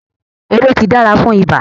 Ewé tíì dára fún ibà